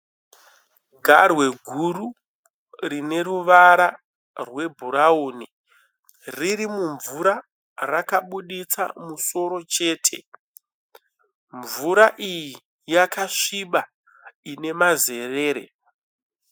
Garwe guru rine ruvara rwebhurauni riri mumvura, rakabuditsa musoro chete, mvura iyi yakasviba ine mazerere.